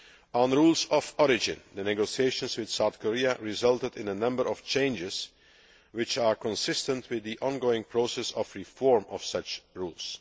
On rules of origin, the negotiations with South Korea resulted in a number of changes which are consistent with the ongoing process of reform of such rules.